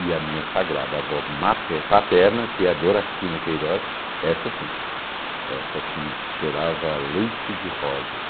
E a minha sagrada avó mate paterna, que é a Doracina Queiroz, essa sim, essa cheirava leite de rosas.